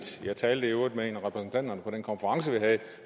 jeg talte i øvrigt med en af repræsentanterne for den konference vi havde